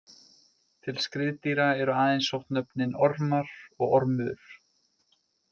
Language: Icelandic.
Til skriðdýra eru aðeins sótt nöfnin Ormar og Ormur.